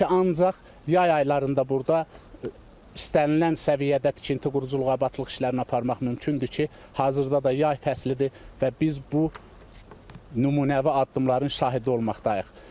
Odur ki, ancaq yay aylarında burada istənilən səviyyədə tikinti, quruculuq, abadlıq işlərini aparmaq mümkündür ki, hazırda da yay fəslidir və biz bu nümunəvi addımların şahidi olmaqdayıq.